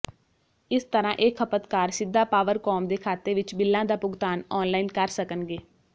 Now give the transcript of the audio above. ਇਸ ਤਰ੍ਹਾਂ ਇਹ ਖਪਤਕਾਰ ਸਿੱਧਾ ਪਾਵਰਕੌਮ ਦੇ ਖਾਤੇ ਵਿੱਚ ਬਿੱਲਾਂ ਦਾ ਭੁਗਤਾਨ ਆਨਲਾਈਨ ਕਰ ਸਕਣਗੇ